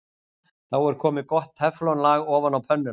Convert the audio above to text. Þá er komið gott teflon-lag ofan á pönnuna.